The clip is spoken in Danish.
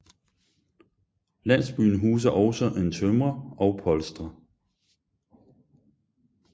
Landsbyen huser også en tømrer og polstrer